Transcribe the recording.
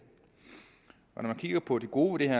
når man kigger på det gode ved det